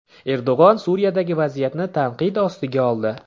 Erdo‘g‘on Suriyadagi vaziyatni tanqid ostiga oldi.